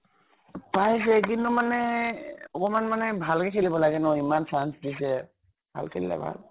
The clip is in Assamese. পাইছে, কিন্তু মানে অকমান মানে ভালকে খেলিব লাগে ন। ইমান chance দিছে। ভাল খেলিলে ভাল।